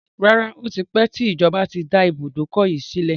Rárá, Ó ti pẹ tí ìjọba tí dá ibùdókọ̀ yìí sílẹ̀.